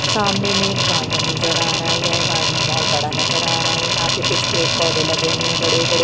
सामने में एक गार्डन नजर आ रहा है यह गार्डन बहुत बड़ा नजर आ रहा है यहाँ पे कुछ पेड़-पौधे लगे हुए हैं बड़े-बड़े।